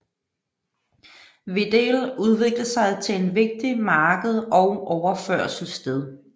Wedel udviklede sig til en vigtigt marked og overførselssted